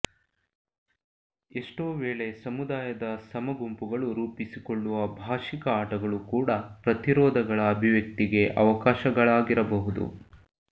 ಎಷ್ಟೋ ವೇಳೆ ಸಮುದಾಯದ ಸಮಗುಂಪುಗಳು ರೂಪಿಸಿಕೊಳ್ಳುವ ಭಾಷಿಕ ಆಟಗಳು ಕೂಡಾ ಪ್ರತಿರೋಧಗಳ ಅಭಿವ್ಯಕ್ತಿಗೆ ಅವಕಾಶಗಳಾಗಿರಬಹುದು